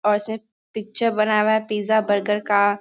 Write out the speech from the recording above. और इसमें पिक्चर बना हुआ है पिज़्ज़ा बर्गर का।